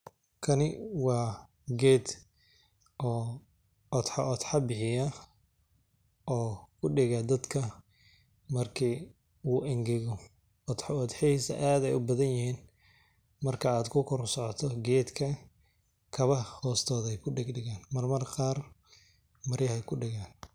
Kani waa geed oo odxo Odxa bihiya oo ku dhiiga dadka markii uu ingego. Odxo odxiisa aad ay u badanyeen marka aad ku koro socoto geedka. Kaba hoostood ay ku dhigdhigaan marwarkaar mari ah ku dhigaan.